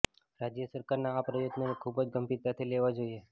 રાજ્ય સરકારના આ પ્રયત્નોને ખૂબ જ ગંભીરતાથી લેવા જોઈએ